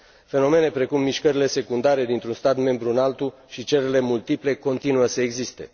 Fenomene precum mișcările secundare dintr un stat membru în altul și cererile multiple continuă să existe.